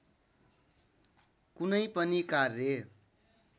कुनै पनि कार्य